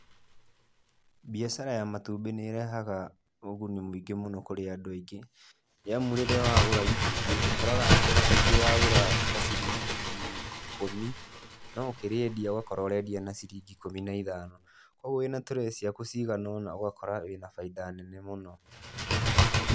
Biacara ya matũmbĩ nĩ rehaga ũgũni mũingĩ mũno kũrĩ andũ aingĩ, nĩ amu rĩrĩa wagũra itumbĩ, ũkoraga itũmbĩ ũragũra ta ciringi ikũmi no ũkĩrĩendia ũgakoraga ũrendia na ciringi ikũmi na ithano, kwoguo wĩna tray ciaku cigana ona ũgakora wĩna baida nene mũno.